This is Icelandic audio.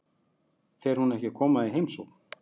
Fer hún ekki að koma í heimsókn?